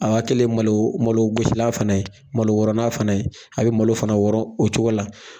A' kɛlen malo malogosilan fana ye malo wɔrɔnan fana ye a bɛ malo fana wɔrɔ o cogo la